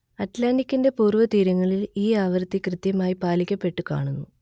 അറ്റ്‌ലാന്റിക്കിന്റെ പൂർവതീരങ്ങളിൽ ഈ ആവൃത്തി കൃത്യമായി പാലിക്കപ്പെട്ടു കാണുന്നു